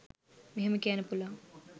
මෙහෙම කියන්න පුළුවන්